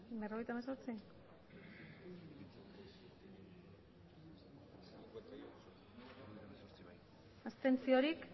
abstentzioak